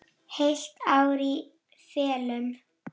Heilt ár í felum.